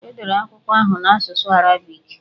E dere akwụkwọ ahụ n'asụsụ Arabiki.